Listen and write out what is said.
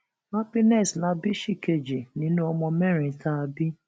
happiness la bí ṣìkejì nínú ọmọ mẹrin tá a bí